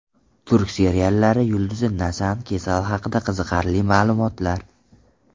Turk seriallari yulduzi Nazan Kesal haqida qiziqarli ma’lumotlar.